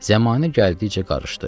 Zəmanə gəldikcə qarışdı.